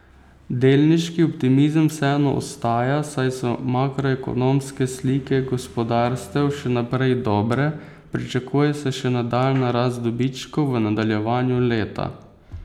Delniški optimizem vseeno ostaja, saj so makroekonomske slike gospodarstev še naprej dobre, pričakuje se še nadaljnja rast dobičkov v nadaljevanju leta.